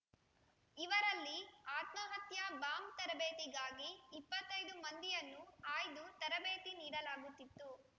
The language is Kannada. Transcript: ಇವರಲ್ಲಿ ಆತ್ಮಹತ್ಯಾ ಬಾಂಬ್ ತರಬೇತಿಗಾಗಿ ಇಪ್ಪತ್ತೈದು ಮಂದಿಯನ್ನು ಆಯ್ದು ತರಬೇತಿ ನೀಡಲಾಗುತ್ತಿತ್ತು